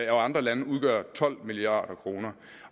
og andre lande udgør tolv milliard kroner